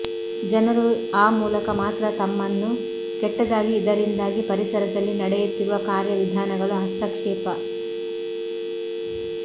ಜನರು ಆ ಮೂಲಕ ಮಾತ್ರ ತಮ್ಮನ್ನು ಕೆಟ್ಟದಾಗಿ ಇದರಿಂದಾಗಿ ಪರಿಸರದಲ್ಲಿ ನಡೆಯುತ್ತಿರುವ ಕಾರ್ಯವಿಧಾನಗಳು ಹಸ್ತಕ್ಷೇಪ